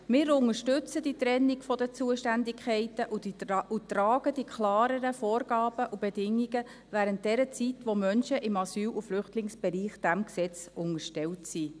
Wir unterstützen die Trennung der Zuständigkeiten und tragen die klareren Vorgaben und Bedingungen, während der Zeit, in der Menschen im Asyl- und Flüchtlingsbereich diesem Gesetz unterstellt sind.